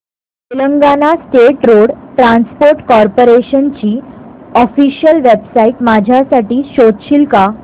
Telangana state road transport corporation ची official website माझ्यासाठी शोधशील का